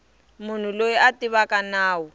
munhu loyi a tivaka nawu